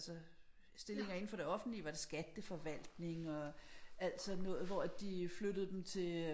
Altså stillinger indenfor det offentlige var det skatteforvaltning og alt sådan noget hvor at de flyttede dem til